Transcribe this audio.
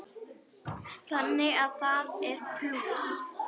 Þannig að það er plús.